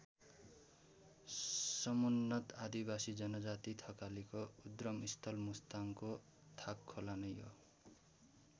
सम्मुन्नत आदिवासी जनजाति थकालीको उद्गम स्थल मुस्ताङको थाकखोला नै हो।